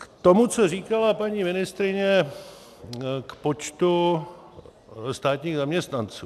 K tomu, co říkala paní ministryně k počtu státních zaměstnanců.